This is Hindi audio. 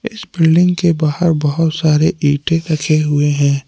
इस बिल्डिंग के बाहर बहुत सारे इटे भी रखे हुए हैं।